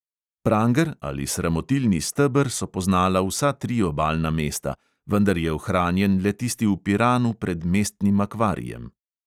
Pranger ali sramotilni steber so poznala vsa tri obalna mesta, vendar je ohranjen le tisti v piranu pred mestnim akvarijem.